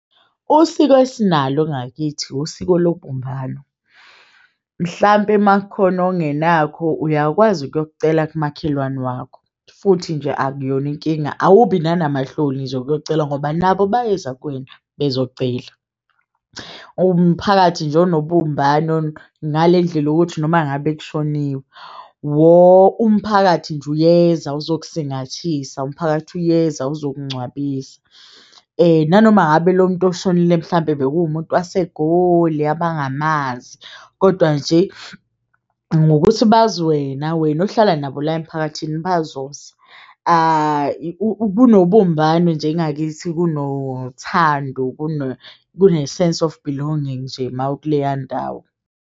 Usiko esinalo ngakithi usiko lobumbano mhlampe makukhona ongenakho uyakwazi ukuyokucela kumakhelwane wakho, futhi nje akuyona inkinga. Awubi nanamahloni nje ukuyocela ngoba nabo bayeza kuwena bezocela umphakathi nje onobumbano ngale ndlela yokuthi noma ngabe kushoniwe. Woah umphakathi nje uyeza uzokusingathisa umphakathi uyeza uzokungcwabisa nanoma ngabe lo muntu oshonile mhlampe bekuwumuntu waseGoli abangamazi kodwa nje ngokuthi bazi wena, wena ohlala nabo la emphakathini bazoza kunobumbano nje ngakithi kunothando. Kune-sense of belonging nje ma ukuleya ndawo.